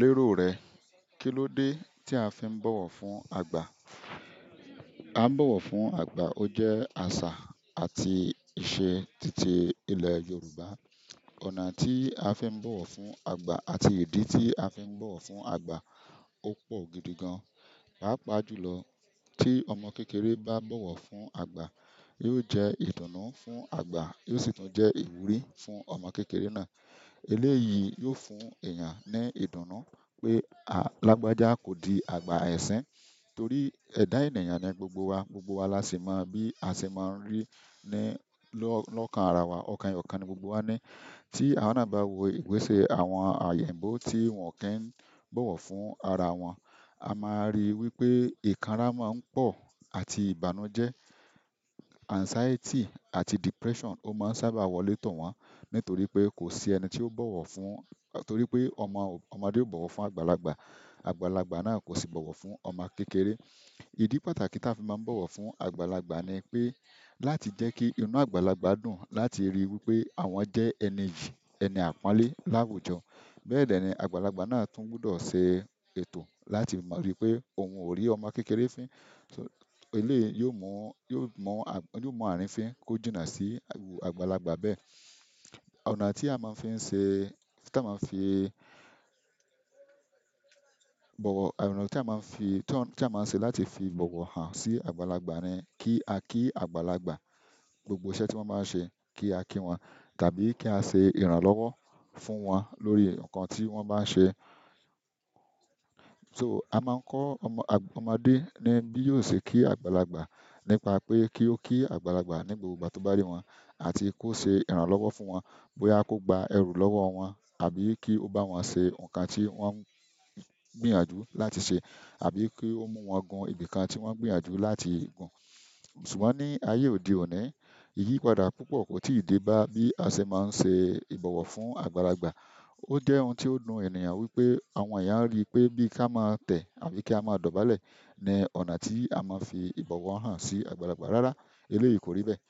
Lérò rẹ, kilode ti a fi n bọwọ fún àgbà? A n bọwọ fún àgbà, o jẹ àṣà àti ìṣe tìtí ilẹ̀ Yorùbá. Ọ̀nà tí a fi n bọwọ fún àgbà àti ìdí tí a fi n bọwọ fún àgbà, o pọ̀ gidi gan. Paapaa julọ tí ọmọ kékeré bá bọwọ fún àgbà, yóò jẹ́ ìdùnnú fún àgbà, yóò sì tún jẹ́ ìwúrí fún ọmọ kékeré náà. Eléyìí yóò fún èèyàn ní ìdùnnú pé a lágbájá kò di àgbà ẹ̀sín, torí ẹ̀dá ènìyàn ni gbogbo wa, gbogbo wa la sì mọ̀ bí a ṣe máa ń rí ní lọ́kàn ara wa, ọ̀kan eyokan ni gbogbo wa ní. Tí a wá bá ń wo ìgbésẹ̀ àwọn eyinbo tí wọn ki ń bọwọ fún ara wọn, a máa rí wípé ìkanrà máa ń pọ̀ àti ìbànújẹ́, anxiety àti depression, ó máa ń sábà wọ létò wọn nítorí pé kò sí ẹni tí ó bọwọ fún-- torí pé ọmọdé ó bọwọ fún àgbàlagbà, àgbàlagbà náà kò sì bọwọ fún ọmọ kékeré. Ìdí pàtàkì tí a fi máa ń bọwọ fún àgbàlagbà ni pé láti jẹ́ kí inú àgbàlagbà dùn láti ríi wípé àwọn jẹ́ ẹni yìí, ẹni àpọ́nlé láwùjọ. Bẹ́ẹ̀ dẹ́ ní àgbàlagbà náà tún gbudọ̀ ṣe ètò láti máa ríi wípé òun ò rí ọmọ kékeré fín. Eléyìí yóò mú àárín fín kó jùnà sí iru àgbàlagbà bẹ́ẹ̀. Ọ̀nà tí a máa ń fi ń ṣe, tí a máa ń fi bọ̀wọ̀, ọ̀nà tí a máa ń fi, tí a máa ń ṣe láti fi bọ̀wọ̀ hàn sí àgbàlagbà ni kí a kí àgbàlagbà, gbogbo iṣẹ́ tí wọ́n bá ń ṣe kí a kí wọn tàbí kí á ṣe ìrànlọ́wọ́ fún wọn lórí nǹkan tí wọ́n bá ń ṣe. So a máa ń kọ́ ọmọdé ní bí yóò ṣe kí àgbàlagbà nípa pé kí ó kí àgbàlagbà ní gbogbo ìgbà tó bá rí wọn àti kó ṣe ìrànlọ́wọ́ fún wọn, bóyá kó gba ẹrù lọ́wọ́ wọn àbí kí ó bá wọn ṣe ǹkan tí wọ́n ń gbìyànjú láti ṣe àbí kí ó mú wọn gun ibìkan tí wọ́n gbìyànjú láti gun. Ṣùgbọ́n ni ayé òde òni ìyìn padà púpọ̀ ko ti dé ba bi a ṣe máa nṣe ibọwọ fún àgbàlagbà. Ó jẹ́ ohun tí ó dùn ènìyàn wípé àwọn èèyàn rí pé bí ká má tẹ̀ àbí ká má dọ̀bálẹ̀ ni ọ̀nà tí a máa fi ìbọ̀wọ̀ hàn sí àgbàlagbà. Rárá, eléyìí kò rí bẹ́ẹ̀.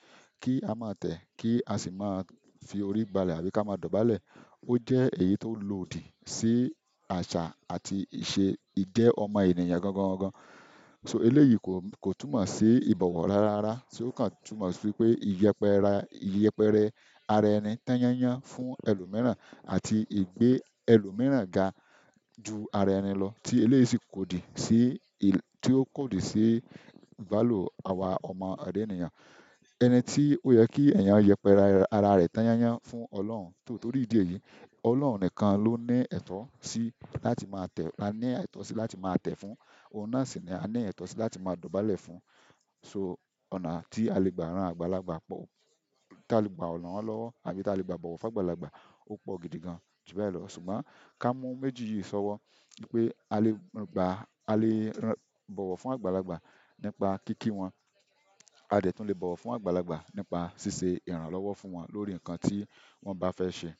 Kí á má tẹ̀, kí á sì máa fi orí bálẹ̀ àbí ká má dọ̀bálẹ̀, ó jẹ́ èyí tó lòdì sí àṣà àti ìṣe ìjẹ́ ọmọ ènìyàn gangan gan. Eléyìí kò túnmọ̀ sí ìbọ̀wọ̀ rárá, ṣe ó kàn túnmọ̀ sí pé ìyẹpẹra, ìyẹpẹrẹ ara ẹni tányányán fún ẹlòmíràn àti ìgbé ẹlòmíràn ga ju ara ẹni lọ tí eléyìí sì kò dì sí, tí ó kò dì sí value àwa ọmọ èdè ènìyàn. Ẹni tí oyè ki èyán yẹpẹrẹ ará rẹ tan yanyan fún ọlọ́run nítorí ìdí èyí ọlọ́run nìkan lo ni ètò si láti ma tẹ là ni ètò si láti ma tẹ fún ohun náà sì ni a ní ẹ̀tọ́ sí láti máa dọ̀bálẹ̀ fún. So ọ̀nà tí a lè gbà rán àgbàlagbà pọ̀, tí a lè gbà ran lọ́wọ́ àbí tí a lè gbà bọ̀wọ̀ fún àgbàlagbà, ó pọ̀ gidi gan. Ṣùgbọ́n ká mú méjì yìí ṣọ́wọ́ wípé a lè gbà, a lè bọ̀wọ̀ fún àgbàlagbà nípa kíki wọn, a dẹ̀ tún lè bọ̀wọ̀ fún àgbàlagbà nípa ṣíṣe ìrànlọ́wọ́ fún wọn lórí ǹkan tí wọ́n bá fẹ́ ṣe.